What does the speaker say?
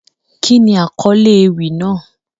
Kíni akọle ewi naa?